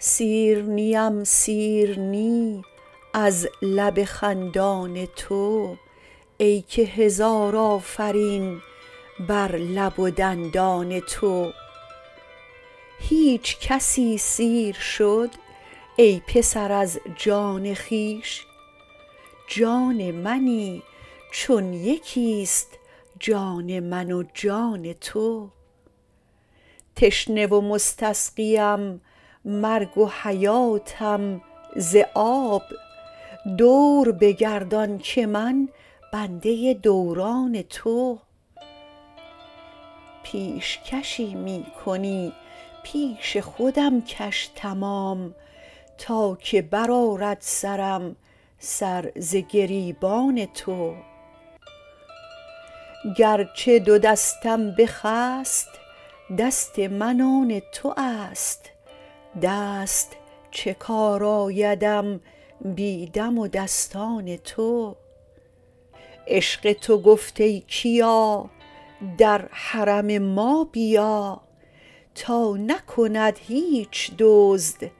سیر نیم سیر نی از لب خندان تو ای که هزار آفرین بر لب و دندان تو هیچ کسی سیر شد ای پسر از جان خویش جان منی چون یکی است جان من و جان تو تشنه و مستسقیم مرگ و حیاتم ز آب دور بگردان که من بنده دوران تو پیش کشی می کنی پیش خودم کش تمام تا که برآرد سرم سر ز گریبان تو گرچه دو دستم بخست دست من آن تو است دست چه کار آیدم بی دم و دستان تو عشق تو گفت ای کیا در حرم ما بیا تا نکند هیچ دزد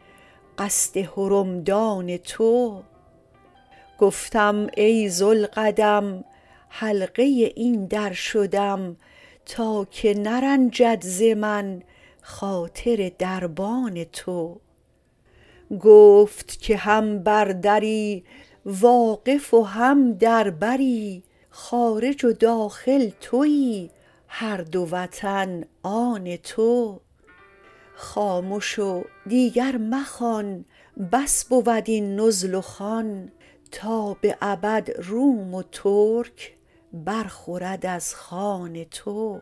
قصد حرمدان تو گفتم ای ذوالقدم حلقه این در شدم تا که نرنجد ز من خاطر دربان تو گفت که هم بر دری واقف و هم در بری خارج و داخل توی هر دو وطن آن تو خامش و دیگر مخوان بس بود این نزل و خوان تا به ابد روم و ترک برخورد از خوان تو